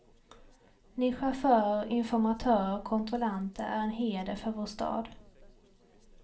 Ni chaufförer, informatörer och kontrollanter är en heder för vår stad.